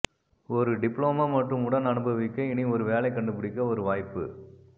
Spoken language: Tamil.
ஒரு டிப்ளமோ மற்றும் உடன் அனுபவிக்க இனி ஒரு வேலை கண்டுபிடிக்க ஒரு வாய்ப்பு